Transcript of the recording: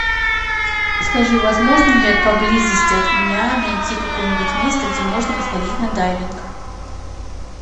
скажи возможно ли поблизости от меня найти какое нибудь место где можно сходить на дайвинг